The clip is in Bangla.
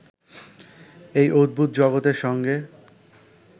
এই অদ্ভুত জগতের সঙ্গে